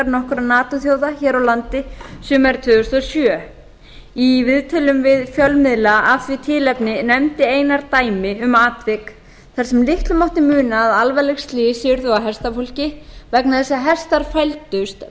nato þjóða hér á landi sumarið tvö þúsund og sjö í viðtölum við fjölmiðla af því tilefni nefndi einar dæmi um atvik þar sem litlu mátti muna að alvarleg slys yrðu á hestafólki vegna þess að hestar fældust